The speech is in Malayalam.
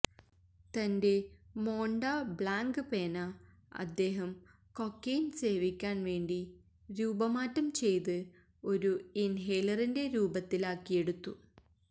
തന്റെ മോണ്ട ബ്ളാങ്ക് പേന അദ്ദേഹം കൊക്കെയ്ൻ സേവിക്കാൻ വേണ്ടി രൂപമാറ്റം ചെയ്ത് ഒരു ഇൻഹേലറിന്റെ രൂപത്തിലാക്കിയെടുത്തു